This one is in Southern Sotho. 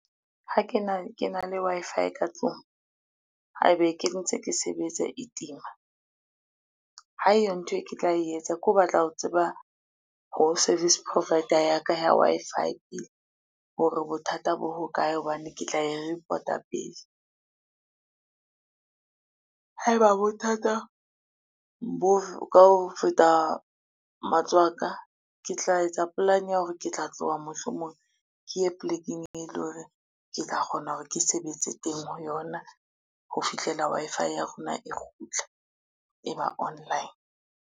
Ha ke na le Wi-Fi ka tlung, haebe ke ntse ke sebetsa e tima, ha eyo ntho e ke tla etsa ke ho batla ho tseba ho service provider ya ka ya Wi-Fi hore bothata bo ho kae hobane ke tla e report-a pele. Haeba bothata bo ka ho feta matsoho a ka, ke tla etsa polane ya hore ke tla tloha mohlomong ke ye plekeng, eleng hore ke tla kgona hore ke sebetse teng ho yona ho fihlela Wi-Fi ya rona e kgutla e ba online.